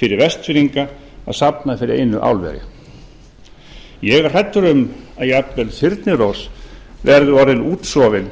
fyrir vestfirðinga að safna fyrir einu álveri ég er hræddur um að jafnvel þyrnirós verði orðin útsofin